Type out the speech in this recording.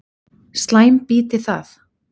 Slæm býti það.